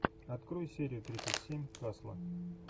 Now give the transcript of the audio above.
открой серию тридцать семь касла